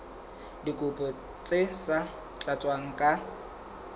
dikopo tse sa tlatswang ka